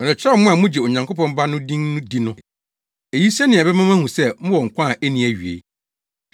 Merekyerɛw mo a mugye Onyankopɔn Ba no din di no eyi sɛnea ɛbɛma moahu sɛ mowɔ nkwa a enni awiei.